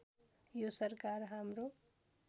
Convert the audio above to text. यो सरकार हाम्रो